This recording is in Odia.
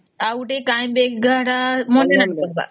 ଆଉ ଗୋଟେ କାଇଁ ବେରଧା ତ money bank baroda